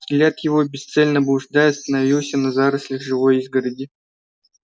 взгляд его бесцельно блуждая остановился на зарослях живой изгороди